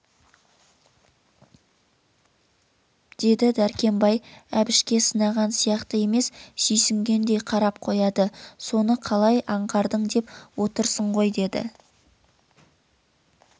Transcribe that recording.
деді дәркембай әбішке сынаған сияқты емес сүйсінгендей қарап қояды соны қалай аңғардың деп отырсың ғой деді